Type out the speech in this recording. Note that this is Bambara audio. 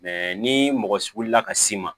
ni mɔgɔ wulila ka s'i ma